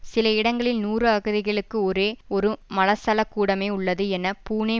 சில இடங்களில் நூறு அகதிகளுக்கு ஒரே ஒரு மலசல கூடமே உள்ளது என பூனே